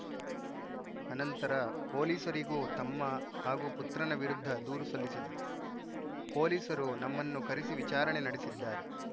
ಅನಂತರ ಪೊಲೀಸರಿಗೂ ತಮ್ಮ ಹಾಗೂ ಪುತ್ರನ ವಿರುದ್ಧ ದೂರು ಸಲ್ಲಿಸಿದ್ದರು ಪೊಲೀಸರು ನಮ್ಮನ್ನು ಕರೆಸಿ ವಿಚಾರಣೆ ನಡೆಸಿದ್ದಾರೆ